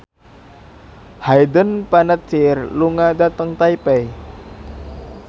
Hayden Panettiere lunga dhateng Taipei